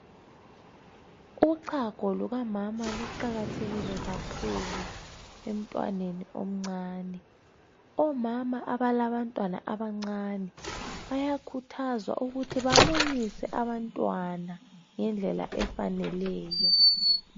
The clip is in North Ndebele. Uchago lukamama luqakathekile kakhulu emntwaneni omncane. Omama abalabantwana abancane bayakhuthazwa ukuthi bamunyise abantwana ngendlela efaneleyo.